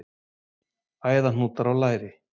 Æðahnútar á læri.